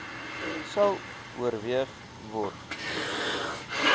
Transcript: sal oorweeg word